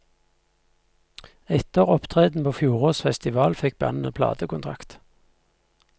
Etter opptreden på fjorårets festival, fikk bandet platekontrakt.